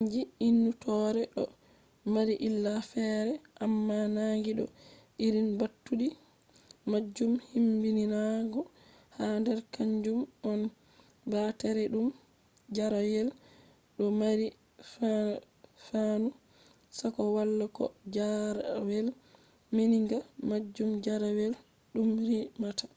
sannji innitoore do mari illa ferefere amma nangi do irin mbattudi majum himmbidinaago ha der kanjum on baareteedum jarrayel do mari anfanu na ko wala bo ko jarrayel meminga majum jarrayel dum rimata on